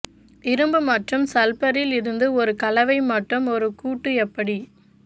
இரும்பு மற்றும் சல்பரில் இருந்து ஒரு கலவை மற்றும் ஒரு கூட்டு எப்படி